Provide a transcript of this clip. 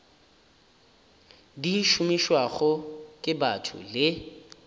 di šomišwago ke batho le